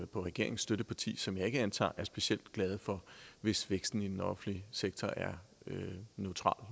på regeringens støtteparti som jeg ikke antager er specielt glade for hvis væksten i den offentlige sektor er neutral